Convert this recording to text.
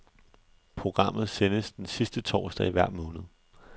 Programmet sendes den sidste torsdag i hver måned.